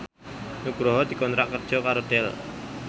Nugroho dikontrak kerja karo Dell